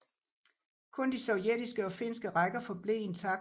Kun de sovjetiske og finske rækker forblev intakte